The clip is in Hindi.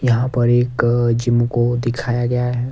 यहां पर एक जिम को दिखाया गया है।